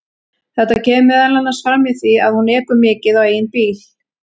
Þetta kemur meðal annars fram í því að hún ekur mikið á eigin bíl.